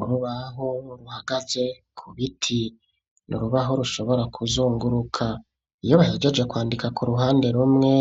Urubaho ruhagaze ku biti ni urubaho rushobora kuzunguruka. Iyo bahejeje kwandika ku ruhande rumwe,